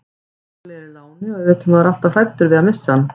Óli er í láni og auðvitað er maður alltaf hræddur við að missa hann.